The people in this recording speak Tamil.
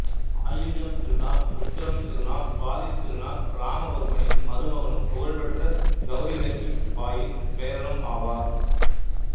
ஆயில்யம் திருநாள் உத்திரம் திருநாள் சுவாதித் திருநாள் ராமவர்மனின் மருமகனும் புகழ்பெற்ற கௌரி லட்சுமி பாயியின் பேரனும் ஆவார்